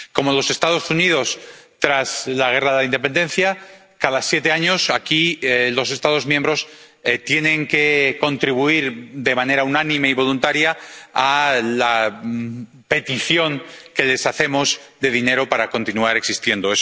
Como los Estados Unidos tras la Guerra de Independencia, cada siete años, aquí, los Estados miembros tienen que contribuir de manera unánime y voluntaria a la petición que les hacemos de dinero para continuar existiendo.